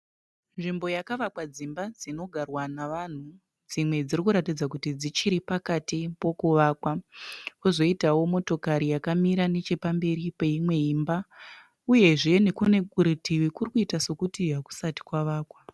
Nzvimbo yakavakwa dzimba dzinogarwa nevanhu, dzimwe dziri kuratidza sokuti dzichiri pakati pokuvakwa. Pozoitawo motokari yakamira nechepamberi peimwe imba uyezve nekune kurutivi kuri kuita sekuti hakusati kwavakwa.